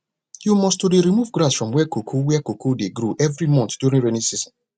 you must to dey remove grass for where cocoa where cocoa dey grow every month during rainy season